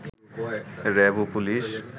RAB ও police